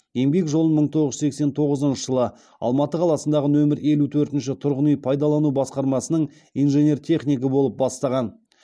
еңбек жолын мың тоғыз жүз сексен тоғызыншы жылы алматы қаласындағы нөмір елу төртінші тұрғын үй пайдалану басқармасының инженер технигі болып бастаған